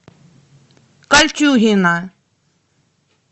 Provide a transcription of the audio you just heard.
кольчугино